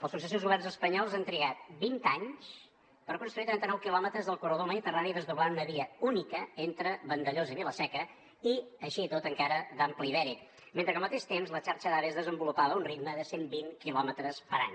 els successius governs espanyols han trigat vint anys per construir trenta nou quilòmetres del corredor mediterrani desdoblant una via única entre vandellòs i vila seca i així i tot encara d’ample ibèric mentre que al mateix temps la xarxa d’ave es desenvolupava a un ritme de cent vint quilòmetres per any